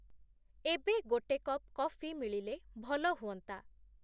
ଏବେ ଗୋଟେ cup coffee ମିଳିଲେ ଭଲ ହୁଅନ୍ତା